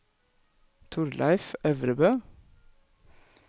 Torleif Øvrebø